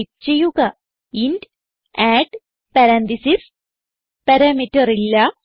type ചെയ്യുക int add parenthesis parameter ഇല്ല